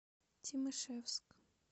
тимашевск